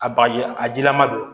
A bagaji a jilaman don